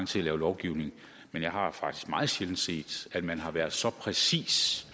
til at lave lovgivning men jeg har faktisk meget sjældent set at man har været så præcis